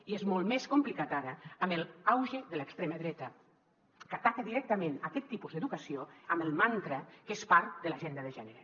i és molt més complicat ara amb l’auge de l’extrema dreta que ataca directament aquest tipus d’educació amb el mantra que és part de l’agenda de gènere